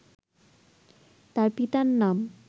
তার পিতার নাম